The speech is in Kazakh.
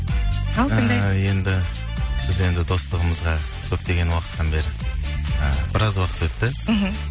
ал тыңдайық ыыы енді біз енді достығымызға көптеген уақыттан бері ы біраз уақыт өтті мхм